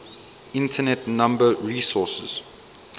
internet number resources